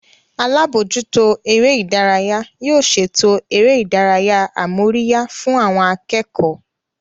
Alábòójútó eré ìdárayá yóò ṣètò eré ìdárayá amóríyá fún àwọn akẹ́kọ̀ọ́